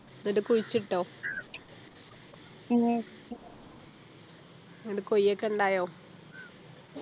എന്നിട്ട് കുഴിച്ചിട്ടോ എന്നിട്ട് കൊയ്യക്ക ഉണ്ടായോ